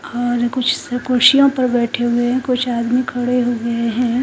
और कुछ कुर्सियों पर बैठे हुए कुछ आदमी खड़े हुए है ।